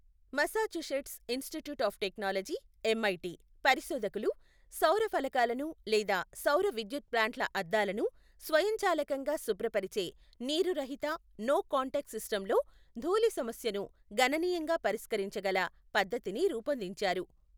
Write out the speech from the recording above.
Massachusetts Institute of Technology, MIT, పరిశోధకులు సౌర ఫలకాలను లేదా సౌర విద్యుత్ ప్లాంట్ల అద్దాలను స్వయంచాలకంగా శుభ్రపరిచే, నీరు రహిత, నో కాంటాక్ట్ సిస్టమ్లో ధూళి సమస్యను గణనీయంగా పరిష్కరించగల పద్దతిని రూపొందించారు.